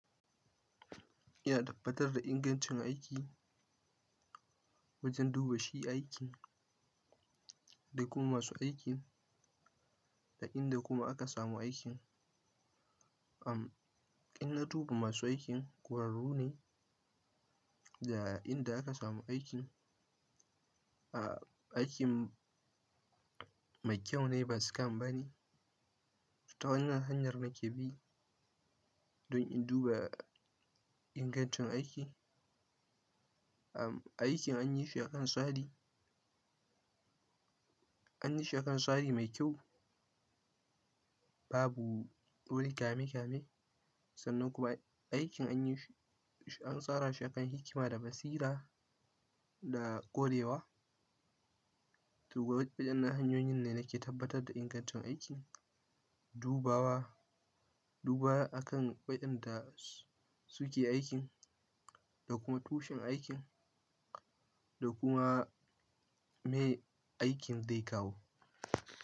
Ina tabbatar da ingancin aiki wajen duba shi aikin, da kuma masu aikin, da inda kuma aka samu aikin. Amm, in na duba masu aikin ƙwararru ne da inda aka samu aikin. A aikin mai kyau ne ba scam bane. Ta wanan hanyar nake bi don in duba ingancin aiki. Amm, aikin an yi shi akan tsari, an yi shi akan tsari mai kyau. Babu duk wani kame kame sannan kuma aikin anyi shi an tsara shi akan hikima da basira da ƙwarewa. To, da waɗannan hanyoyin ne nake tabbatar da ingancin aikin, dubawa, duba akan waɗanda suke aikin da kuma tushen aikin da kuma me aikin zai kawo.